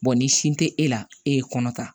ni sin te e la e ye kɔnɔ ta